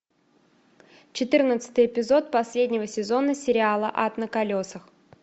четырнадцатый эпизод последнего сезона сериала ад на колесах